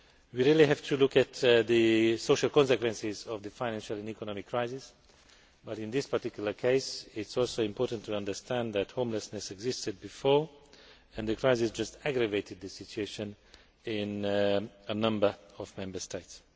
We have to look at the social consequences of the financial and economic crisis, but in this particular case it is also important to understand that homelessness existed before, and the crisis just aggravated this situation in a number of Member States.